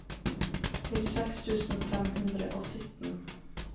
nittiseks tusen fem hundre og sytten